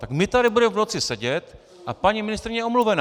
Tak my tady budeme v noci sedět a paní ministryně je omluvená!